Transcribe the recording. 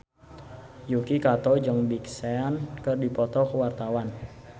Yuki Kato jeung Big Sean keur dipoto ku wartawan